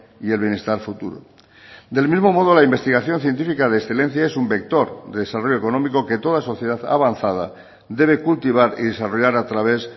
y el bienestar futuro del mismo modo la investigación científica de excelencia es un vector de desarrollo económico que toda sociedad avanzada debe cultivar y desarrollar a través